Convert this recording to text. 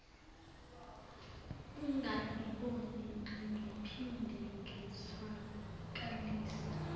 ungangiboni angiphinde ngizwakalise